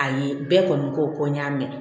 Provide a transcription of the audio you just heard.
Ayi bɛɛ kɔni ko n y'a mɛn